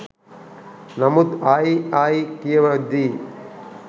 නමුත් ආයි ආයි කියවද්දි